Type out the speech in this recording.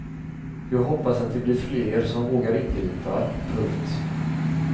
Jag hoppas att det blir fler som vågar ingripa. punkt